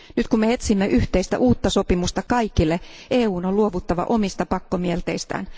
Nyt kun me etsimme yhteistä uutta sopimusta kaikille, EUn on luovuttava omista pakkomielteistään.